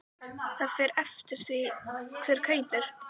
Það fer eftir því hver kaupir.